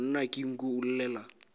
monna ke nku o llela